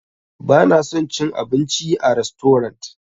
Bana son cin abinci a rastorant.